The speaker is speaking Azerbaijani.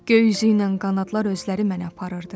Göy üzü ilə qanadlar özləri məni aparırdı.